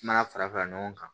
Kuma fara fara ɲɔgɔn kan